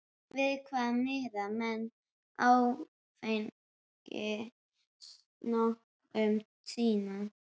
Við hvað miða menn áfengisnotkun sína?